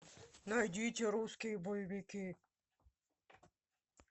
найдите русские боевики